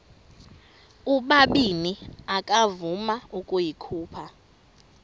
ubabini akavuma ukuyikhupha